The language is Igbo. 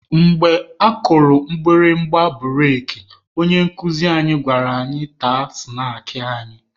Mgbe akụrụ mgbịrịgba bụreki, onye nkuzi anyị gwara anyị taa snaakị anyị.